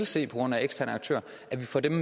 se på grund af eksterne aktører